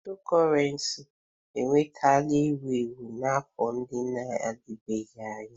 Cryptocurrency enwetala ewu ewu n'afọ ndị na-adịbeghị anya.